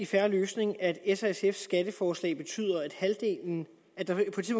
fair løsning at s og sfs skatteforslag betyder at halvdelen